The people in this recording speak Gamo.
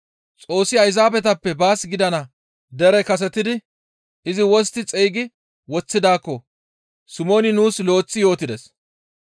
Xoossi Ayzaabetappe baas gidana dere kasetidi izi wostti xeygi woththidaakko Simooni nuus lo7eththi yootides.